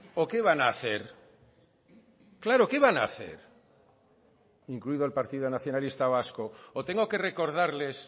o qué van a hacer claro qué van a hacer incluido el partido nacionalista vasco o tengo que recordarles